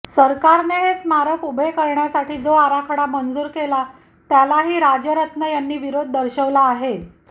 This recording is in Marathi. सरकारने हे स्मारक उभे करण्यासाठी जो आराखडा मंजूर केला त्यालाही राजरत्न यांनी विरोध दर्शवला आहे